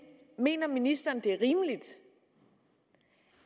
mener ministeren det er rimeligt